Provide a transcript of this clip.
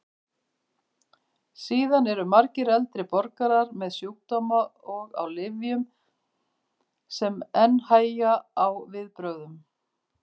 Síðan eru margir eldri borgarar með sjúkdóma og á lyfjum sem enn hægja á viðbrögðum.